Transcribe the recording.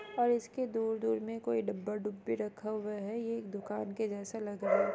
और इसके दूर-दूर डब्बा डुब्बी रखा हुआ है ये एक दुकान के जैस लग रहा है।